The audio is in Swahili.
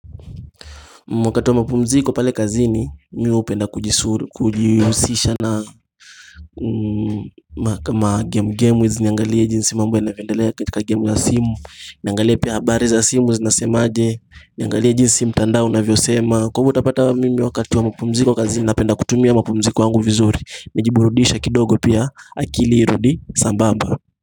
Wakati wa mpumziko pale kazini mi hupenda kujihusisha na game game with niangalie jinsi mambo yanavyoendelea katika game ya simu Niangalie pia habari za simu zinasema aje Niangalie jinsi mtandao unavyosema Kwa hivyo utapata mimi wakati wa mpumziko kazini napenda kutumia mapumziko yangu vizuri Nijiburudishe kidogo pia akili irudi sambamba.